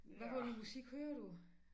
Hvad for noget musik hører du